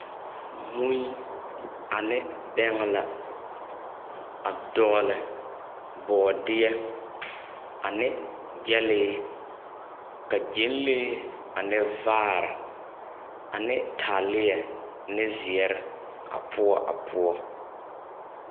Mui ane bɛŋɛ la, a dɔgle bɔɔdeɛ, ane gyɛlee, ka gyɛnlee, ane vaare, ane taaleɛ ne zeɛre a poɔ.